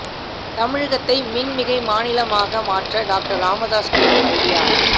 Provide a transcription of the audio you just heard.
தமிழகத்தை மின் மிகை மாநிலமாக மாற்ற டாக்டர் ராமதாஸ் கூறும் ஐடியா